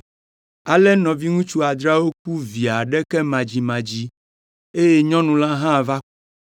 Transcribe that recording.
Ale nɔviŋutsu adreawo ku vi aɖeke madzimadzi, eye nyɔnu la hã va ku.